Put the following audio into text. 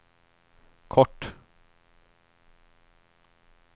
kort